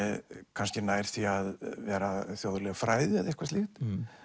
kannski nær því að vera þjóðleg fræði eða eitthvað slíkt